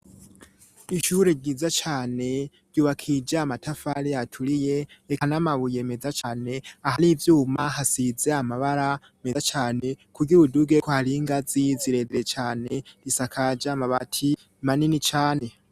Ishure ryiza cane ryubakija amatafari aturiye reka n'amabuyemeza cyane ahari ivyuma hasize amabara meza cane ku ry ibuduge ko hari ingazi ziredere cyane risakaja mabati manini cane.